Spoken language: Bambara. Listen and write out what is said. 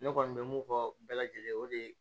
Ne kɔni bɛ mun fɔ bɛɛ lajɛlen ye o de ye